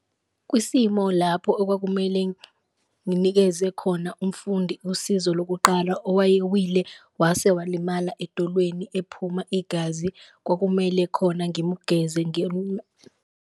Kwisimo lapho okwakumele nginikeze khona umfundi usizo lokuqala owayewile wase walimala edolweni ephuma igazi, kwakumele khona ngimugeze .